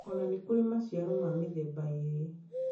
O na nĩ kũrĩ maciaro ma mĩthemba ĩĩrĩ.